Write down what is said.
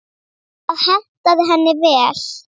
Það hentaði henni vel.